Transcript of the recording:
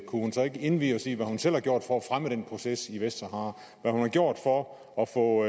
kunne hun så ikke indvie os i hvad hun selv har gjort for at fremme den proces i vestsahara hvad hun har gjort for at få